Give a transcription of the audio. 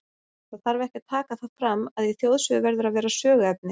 Það þarf ekki að taka það fram, að í þjóðsögu verður að vera söguefni.